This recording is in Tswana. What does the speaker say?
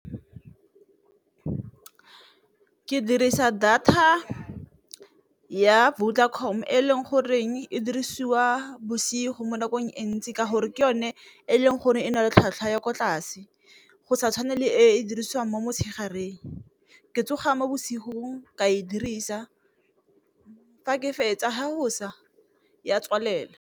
Ke dirisa data ya Vodacom e leng goreng e dirisiwa bosigo mo nakong e ntsi ka gore ke yone e leng gore ne e na le tlhwatlhwa ya ko tlase, go sa tshwane le e e dirisiwang mo motshegareng. Ke tsoga mo bosigong ka e dirisa fa ke fetsa fa go sa ya tswalelwa.